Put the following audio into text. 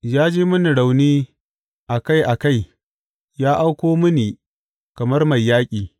Ya ji mini rauni a kai a kai ya auko mini kamar mai yaƙi.